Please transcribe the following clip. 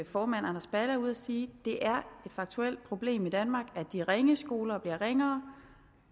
formand anders balle er ude at sige det er et faktuelt problem i danmark at de ringe skoler bliver ringere